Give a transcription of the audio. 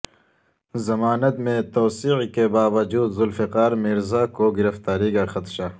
ضمانت میں توسیع کے باوجود ذوالفقار مرزا کو گرفتاری کا خدشہ